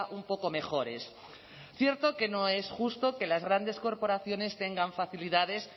un poco mejores cierto que no es justo que las grandes corporaciones tengan facilidades